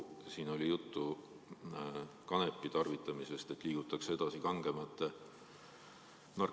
Siin oli juttu kanepi tarvitamisest, et liigutakse edasi kangemate narkootikumide juurde.